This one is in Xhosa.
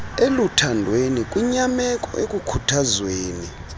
eluthandweni kwinyameko ekukhuthazweni